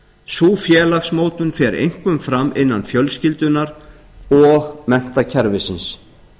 sú félagsmótun fer einkum fram innan fjölskyldunnar og menntakerfisins